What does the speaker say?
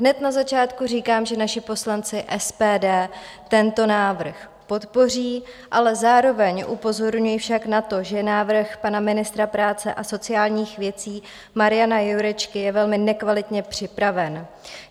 Hned na začátku říkám, že naši poslanci SPD tento návrh podpoří, ale zároveň upozorňuji však na to, že návrh pana ministra práce a sociálních věcí Mariana Jurečky je velmi nekvalitně připraven.